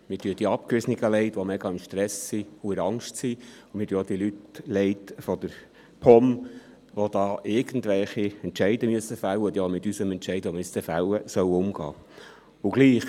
Mir tun die Abgewiesenen leid, die grossen Stress und Angst haben, und auch die Leute der POM, die irgendwelche Entscheide fällen müssen und auch mit unserem Entscheid, den wir noch fällen müssen, umgehen sollen.